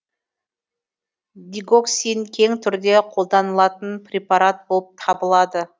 дигоксин кең түрде қолданылатын препарат болып табылады